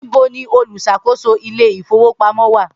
Nibo ni oluṣakoso ile-ifowopamọ wa?